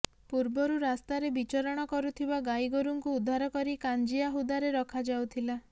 ପୂର୍ବରୁ ରାସ୍ତାରେ ବିଚରଣ କରୁଥିବା ଗାଈଗୋରୁଙ୍କୁ ଉଦ୍ଧାର କରି କାଞ୍ଜିଆ ହୁଦାରେ ରଖାଯାଉଥିଲା